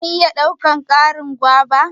zan iya daukan Karin guava?